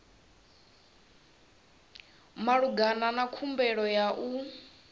malugana na khumbelo ya u